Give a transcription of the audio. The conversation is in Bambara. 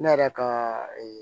Ne yɛrɛ ka